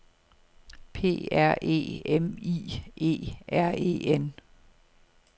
P R E M I E R E N